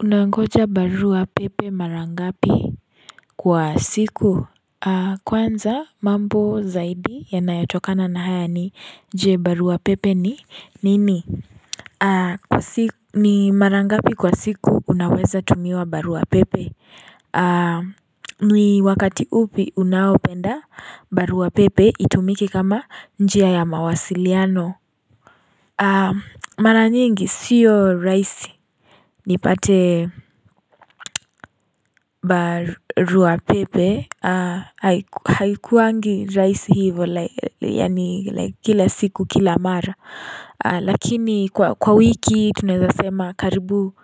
Unangoja barua pepe mara ngapi Kwa siku? Kwanza mambo zaidi yanayotokana na haya ni je barua pepe ni nini? Kwa siku ni mara ngapi kwa siku unaweza tumiwa barua pepe? Ni wakati upi unaopenda barua pepe itumike kama njia ya mawasiliano? Mara nyingi sio rahisi nipate barua pepe Haikuwangi rahisi hivo yaani kila siku kila mara Lakini kwa wiki tunaeza sema karibu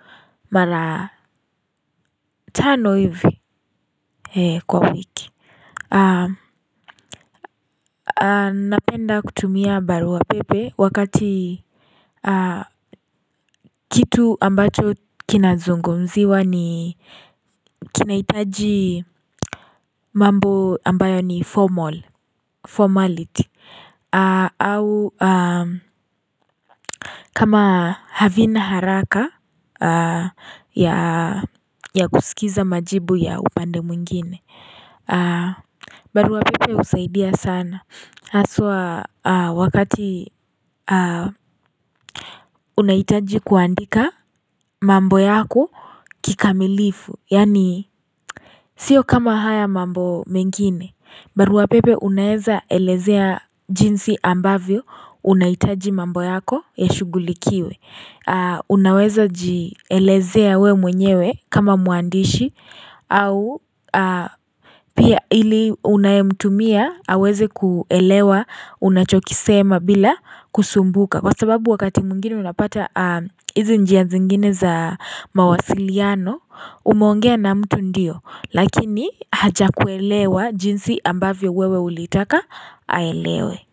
mara tano hivi kwa wiki Napenda kutumia barua pepe wakati kitu ambacho kinazungumziwa ni kinahitaji mambo ambayo ni formal, formality au kama havina haraka ya kusikiza majibu ya upande mwingine barua pepe husaidia sana haswa wakati unahitaji kuandika mambo yako kikamilifu, yaani sio kama haya mambo mengine barua pepe unaeza elezea jinsi ambavyo unahitaji mambo yako yashugulikiwe Unaweza jielezea we mwenyewe kama mwandishi au pia ili unayemtumia aweze kuelewa unachokisema bila kusumbuka Kwa sababu wakati mwingine unapata hizi njia zingine za mawasiliano umeongea na mtu ndio, lakini hajakuelewa jinsi ambavyo wewe ulitaka aelewe.